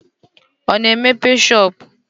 Ọ na-emepe shọopụ?